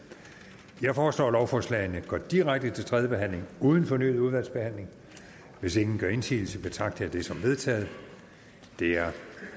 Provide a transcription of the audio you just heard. jeg foreslår at lovforslagene går direkte til tredje behandling uden fornyet udvalgsbehandling hvis ingen gør indsigelse betragter det som vedtaget det er